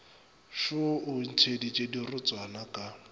šoo o ntšheditše dirotswana ka